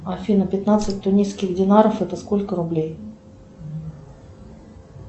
афина пятнадцать тунисских динаров это сколько рублей